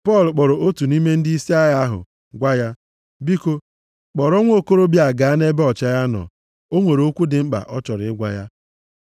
Pọl kpọrọ otu nʼime ndịisi agha ahụ gwa ya, “Biko kpọrọ nwokorobịa a gaa nʼebe ọchịagha nọ, o nwere okwu dị mkpa ọ chọrọ ịgwa ya.”